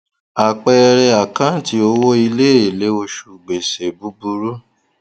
àpẹẹrẹ àkáǹtì owó ilé èlé oṣù gbèsè búburú